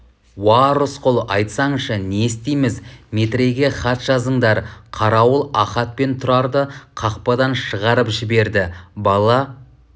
уа рысқұл айтсаңшы не істейміз метрейге хат жазыңдар қарауыл ахат пен тұрарды қақпадан шығарып жіберді бала